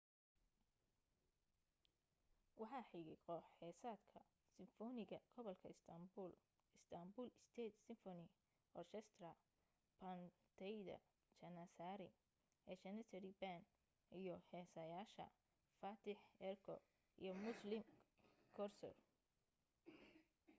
waxaa xigay koox-heesaadka simfoniga gobolka istanbul istanbul state symphony orchestra baandeyda janissari a janissary band iyo heesaayaasha fatih erkoç iyo müslüm gürses